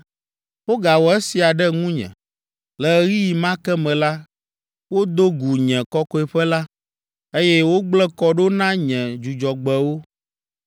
Wogawɔ esia ɖe ŋunye. Le ɣeyiɣi ma ke me la, wodo gu nye kɔkɔeƒe la, eye wogblẽ kɔ ɖo na nye Dzudzɔgbewo.